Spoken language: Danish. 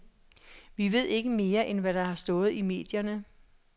Vi ved ikke mere, end hvad der har stået i medierne.